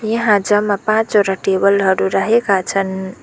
यहाँ जम्मा पाँचवरा टेबल हरू राखेका छन्।